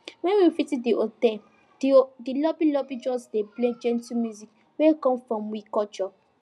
when we visit di hotel di lobby lobby just dey play gentle music wey come from we culture